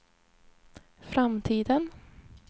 framtiden